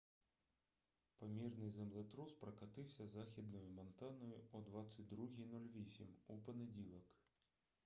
помірний землетрус прокотився західною монтаною о 22:08 у понеділок